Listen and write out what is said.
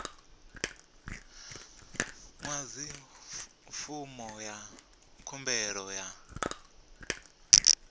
ḓadza fomo ya khumbelo ya